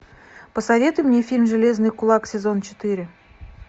посоветуй мне фильм железный кулак сезон четыре